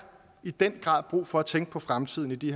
i den grad brug for at tænke på fremtiden i de